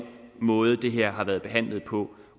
måde det her har været behandlet på